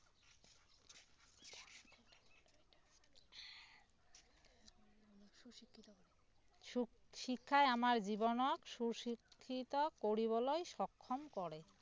শিক্ষায় আমাৰ জীৱনত সু শিক্ষিত কৰিবলৈ সক্ষম কৰে